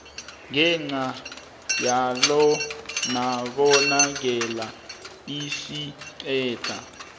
ngenca yalonobangela esiqeda